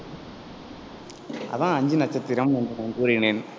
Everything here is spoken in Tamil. அதான் ஐந்து நட்சத்திரம் என்று நான் கூறினேன்.